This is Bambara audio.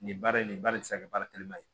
Nin baara in nin ba de bɛ se ka kɛ baara telima ye